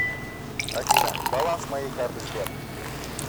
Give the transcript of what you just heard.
афина баланс моей карты сбер